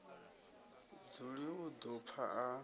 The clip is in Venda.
dzuli u ḓo pfa a